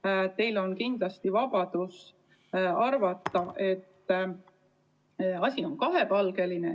Samuti on teil vabadus arvata, et asi on kahepalgeline.